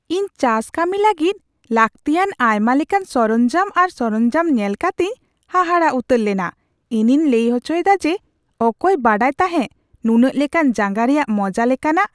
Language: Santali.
ᱤᱧ ᱪᱟᱥ ᱠᱟᱹᱢᱤ ᱞᱟᱹᱜᱤᱫ ᱞᱟᱹᱠᱛᱤᱭᱟᱱ ᱟᱭᱢᱟ ᱞᱮᱠᱟᱱ ᱥᱚᱨᱚᱧᱡᱟᱢ ᱟᱨ ᱥᱚᱨᱚᱧᱡᱟᱢ ᱧᱮᱞ ᱠᱟᱛᱮᱧ ᱦᱟᱦᱟᱲᱟᱜ ᱩᱛᱟᱹᱨ ᱞᱮᱱᱟ ᱾ ᱤᱧᱤᱧ ᱞᱟᱹᱭ ᱦᱚᱪᱚᱭᱮᱫᱟ ᱡᱮ ᱚᱠᱚᱭ ᱵᱟᱰᱟᱭ ᱛᱟᱦᱮᱸ ᱱᱩᱱᱟᱹᱜ ᱞᱮᱠᱟᱱ ᱡᱟᱸᱜᱟ ᱨᱮᱭᱟᱜ ᱢᱚᱡᱟ ᱞᱮᱠᱟᱱᱟᱜ ?